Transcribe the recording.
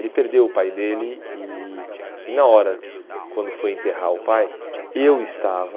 Ele perdeu o pai dele e e na hora quando foi enterrar o pai, eu estava...